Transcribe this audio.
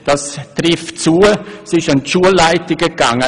Das trifft zu, sie ging an die Schulleitungen.